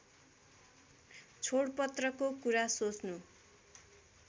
छोडपत्रको कुरा सोच्नु